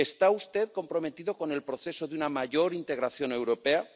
¿Está usted comprometido con el proceso de una mayor integración europea?